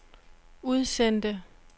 udsendte